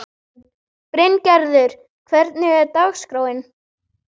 Bryngerður, hvernig er dagskráin?